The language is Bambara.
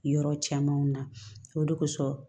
Yɔrɔ camanw na o de kosɔn